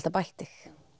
bætt þig